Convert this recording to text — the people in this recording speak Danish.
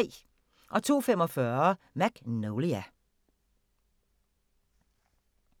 02:45: Magnolia